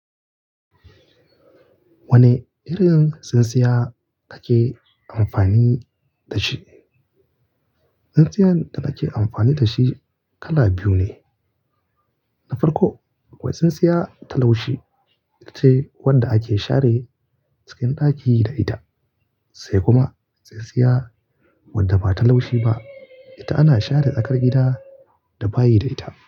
Wane irin tsintsiya kake amfani da shi? Tsintsiyan da nake amfani da shi kala biyu ne. Na farko, wai tsintsiya ta laushi, ita ce wanda ake share cikin ɗaki da ita, sai kuma tsintsiya wadda ba ta laushi ba. Ita ana share tsakar gida da bayi da ita.